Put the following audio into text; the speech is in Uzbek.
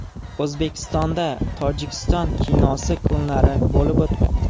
O‘zbekistonda Tojikiston kinosi kunlari bo‘lib o‘tmoqda.